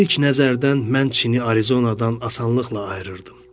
İlk nəzərdən mən Çini Arizonadan asanlıqla ayırırdım.